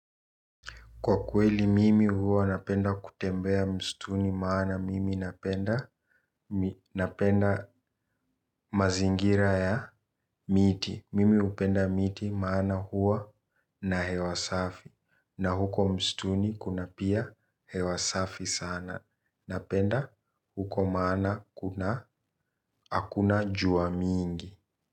Kwa kweli mimi huwa napenda kutembea msituni maana mimi napenda mazingira ya miti. Mimi upenda miti maana huo na hewasafi. Na huko mstuni kuna pia hewasafi sana. Napenda huko maana hakuna jua mingi.